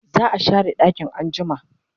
za'a share ɗakin anjima